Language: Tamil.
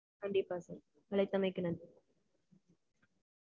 கண்டிப்பா sir. அழைத்தமைக்கு நன்றி.